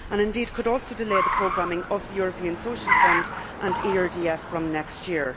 The amendments could also delay the programming of the European Social Fund and ERDF from next year.